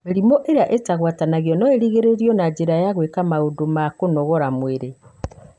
Mĩrimũ ĩrĩa ĩtagwatanagĩra no ĩgirĩrĩrio na njĩra ya gwĩka maũndũ ma kũnogora mwĩrĩ.